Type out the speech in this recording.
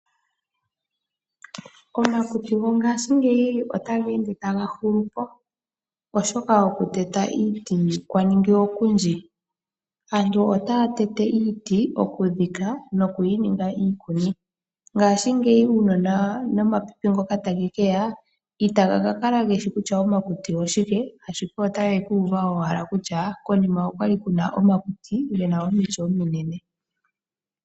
Omakuti mongaashingeyi otageende taga hulupo oshoka okuteta iiti kwaningi okudji. Aantu otaya tete iiti okudhika nokuyi ninga iikuni. Ngaashingeyi uunona nomapipi ngoka tagekeya ita gakakala geshi kutya omakuti oshike, ashike otage kuuva owala kutya konima okwali kuna omakuti gena omiti ominene.